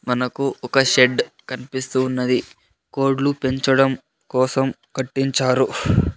మనకు ఒక షెడ్ కనిపిస్తూ ఉన్నది కోడ్లు పెంచడం కోసం కట్టించారు .